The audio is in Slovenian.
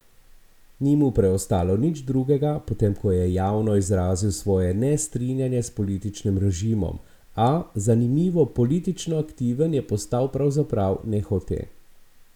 Ni mu preostalo nič drugega, potem ko je javno izrazil svoje nestrinjanje s političnim režimom, a, zanimivo, politično aktiven je postal pravzaprav nehote.